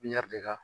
Ɲɛri de ka